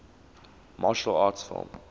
martial arts film